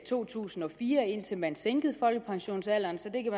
to tusind og fire indtil man sænkede folkepensionsalderen så det kan